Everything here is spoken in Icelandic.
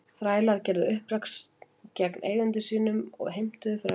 Þrælar gerðu uppreisn gegn eigendum sínum og heimtuðu frelsi.